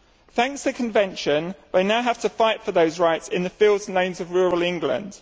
Thanks to the convention, we now have to fight for those rights in the fields and lanes of rural England.